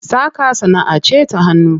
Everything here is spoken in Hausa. Saƙa sanaʼa ce ta hannu.